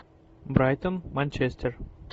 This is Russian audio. брайтон манчестер